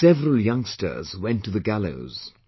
Several youngsters went to the gallows